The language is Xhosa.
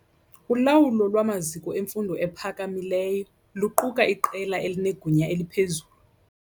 Ulawulo lwamaziko emfundo ephakamileyo luquka iqela elinegunya eliphezulu.